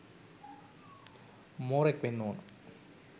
මෝරෙක් වෙන්න ඕන